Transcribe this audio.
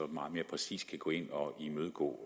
meget mere præcist kan gå ind og imødegå